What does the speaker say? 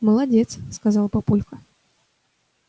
молодец сказал папулька